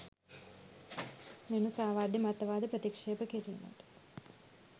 මෙම සාවද්‍ය මතවාද ප්‍රතික්‍ෂේප කිරීමට